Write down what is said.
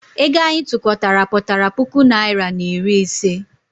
Ego anyị tụkọtara pụtara puku naịra na iri ise.